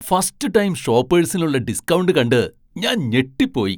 First time ഷോപേഴ്സിനുള്ള discount കണ്ട് ഞാൻ ഞെട്ടിപ്പോയി.